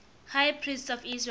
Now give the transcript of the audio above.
high priests of israel